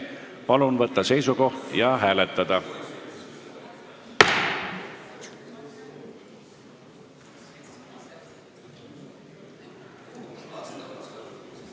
Palun võtta seisukoht ja hääletada!